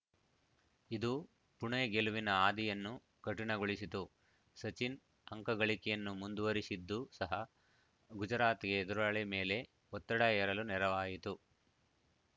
ಇದು ಪುಣೆ ಗೆಲುವಿನ ಹಾದಿಯನ್ನು ಕಠಿಣಗೊಳಿಸಿತು ಸಚಿನ್‌ ಅಂಕಗಳಿಕೆಯನ್ನು ಮುಂದುವರಿಸಿದ್ದು ಸಹ ಗುಜರಾತ್‌ಗೆ ಎದುರಾಳಿ ಮೇಲೆ ಒತ್ತಡ ಹೇರಲು ನೆರವಾಯಿತು